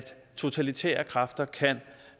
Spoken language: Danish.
totalitære kræfter kan